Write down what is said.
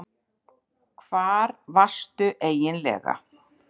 Hvar varstu eiginlega?